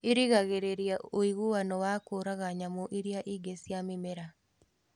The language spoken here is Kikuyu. Irigagĩrĩra woiguano wa kũraga nyamũ iria ingĩ cia mĩmera